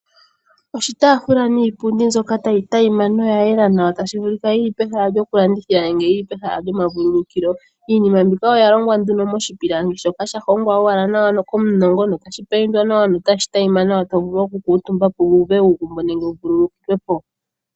Oshitafula niipundi mbyoka tayi monika yayela notayi adhima nawa tashi vulika yili pehala lyo kulandithila nenge yili pehala lyomavululukilo. Iinima mbika oyalongwa nee miipilangi mboka yahongwa nawa komunongo no shapayindwa opo shi monike nawa tovulu kukutumba po wuve uugumbo nenge wuvulukwe Po.